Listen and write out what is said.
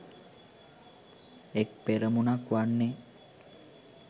එක් පෙරමුණක් වන්නේ